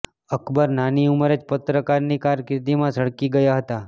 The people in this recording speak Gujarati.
અકબર નાની ઉંમરે જ પત્રકારની કારકિર્દીમાં ઝળકી ગયા હતા